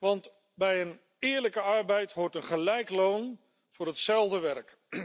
Want bij een eerlijke arbeid hoort een gelijk loon voor hetzelfde werk.